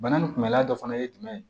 Bana nin kunbɛlila dɔ fana ye jumɛn ye